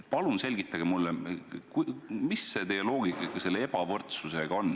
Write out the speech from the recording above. Palun selgitage mulle, mis see teie loogika ikka selle ebavõrdsusega on!